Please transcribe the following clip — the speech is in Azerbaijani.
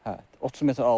Hə, 30 metr aralıda.